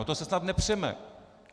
O to se snad nepřeme.